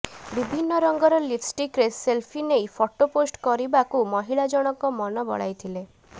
ବିଭିନ୍ନ ରଙ୍ଗର ଲିପ୍ଷ୍ଟିକ୍ରେ ସେଲଫି ନେଇ ଫଟୋ ପୋଷ୍ଟ କରିବାକୁ ମହିଳା ଜଣଙ୍କ ମନ ବଳାଇ ଥିଲେ